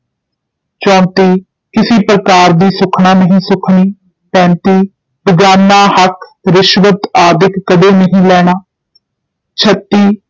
ਚੌਂਤੀ ਕਿਸੇ ਪ੍ਰਕਾਰ ਦੀ ਸੁੱਖਣਾ ਨਹੀਂ ਸੁੱਖਣੀ, ਪੈਂਤੀ ਬੇਗਾਨਾ ਹੱਕ ਰਿਸ਼ਵਤ ਆਦਿਕ ਕਦੇ ਨਹੀਂ ਲੈਣਾ, ਛੱਤੀ